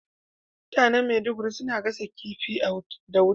Mutanen Maiduguri suna gasa kifi da wuta.